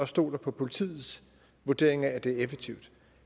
stoler på politiets vurdering af at det er effektivt